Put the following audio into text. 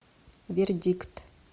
вердикт